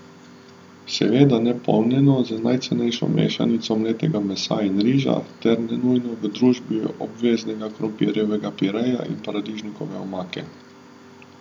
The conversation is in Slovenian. Seveda ne polnjeno z najcenejšo mešanico mletega mesa in riža ter ne nujno v družbi obveznega krompirjevega pireja in paradižnikove omake.